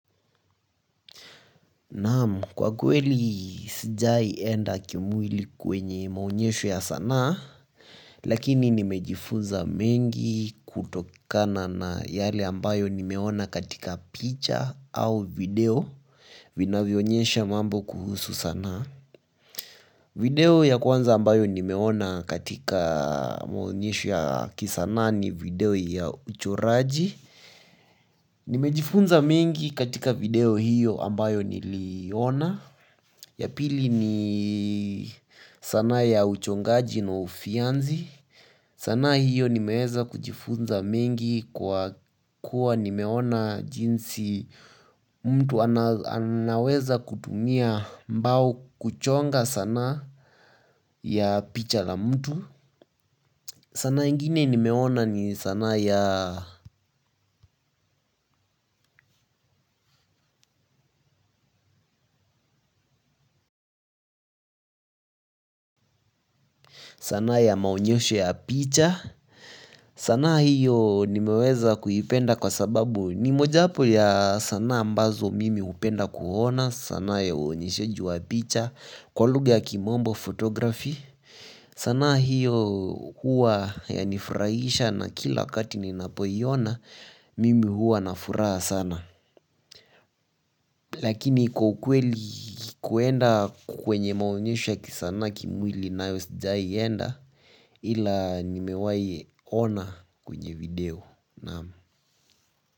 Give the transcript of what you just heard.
Naam, kwa kweli sijai enda kimwili kwenye maonyesho ya sanaa lakini nimejifunza mengi kutokana na yale ambayo nimeona katika picha au video vinavyo onyesha mambo kuhusu sanaa. Video ya kwanza ambayo nimeona katika maonyesho ya kisanaa ni video ya uchoraji. Nimejifunza mengi katika video hiyo ambayo niliona. Ya pili ni sanaa ya uchongaji na ufyanzi. Sanaa hiyo nimeweza kujifunza mengi kwa kuwa nimeona jinsi mtu anaweza kutumia mbao kuchonga sanaa ya picha la mtu. Sanaa ingine nimeona ni sanaa ya ya maonyesho ya picha. Sanaa hiyo nimeweza kuipenda kwa sababu ni mojawapo ya sanaa ambazo mimi hupenda kuona. Sanaa ya uonyesheji wa picha kwa lugha ya kimombo photography. Sanaa hiyo huwa yanifurahisha na kila wakati ninapoiona mimi huwa na furaha sana. Lakini kwa ukweli kuenda kwenye maonyesho ya kisanaa kimwili nayo sijai enda ila nimewahi ona kwenye video Naam.